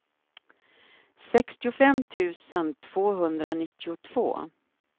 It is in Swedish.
sextiofem tusen tvåhundranittiotvå